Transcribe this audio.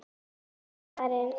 Sebastian, ekki fórstu með þeim?